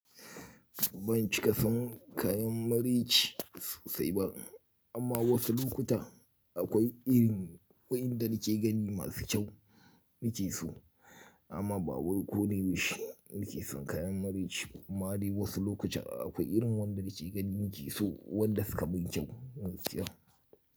Ban cika san kayan mari ci sosai ba amma wasu lokuta akwai irin waɗanda kike gani masu kyau nike so amma ba warku ne ba shi nike son kayan mari ci kuma hari wasu lokuta akwai irin waɗanda kike gani nike so waɗanda suka ban kyau masu ƙira.